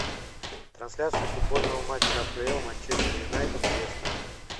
трансляция футбольного матча апл манчестер юнайтед с лестером